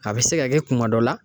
A bi se ka kɛ kuma dɔ la